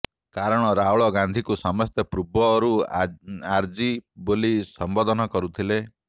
କାରଣ ରାହୁଲ ଗାନ୍ଧିଙ୍କୁ ସମସ୍ତେ ପୂର୍ବରୁ ଆରଜି ବୋଲି ସମ୍ବୋଧନ କରୁଥିଲେ